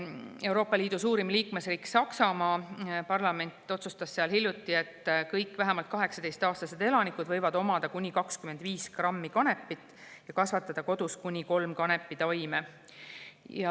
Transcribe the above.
Euroopa Liidu suurima liikmesriigi, Saksamaa parlament otsustas hiljuti, et kõik vähemalt 18-aastased elanikud võivad omada kuni 25 grammi kanepit ja kasvatada kodus kuni kolme kanepitaime.